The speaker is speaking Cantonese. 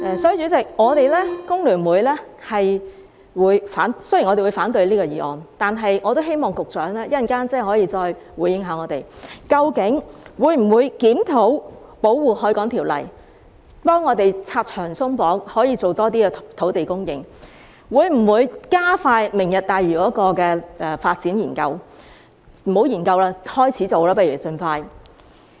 所以，代理主席，雖然我們會反對這項議案，但我也希望局長稍後可以再回應我們，究竟會否檢討《條例》，幫助我們拆牆鬆綁，以增加土地供應，以及會否加快"明日大嶼"的發展研究——不如不要研究了，盡快開始做吧。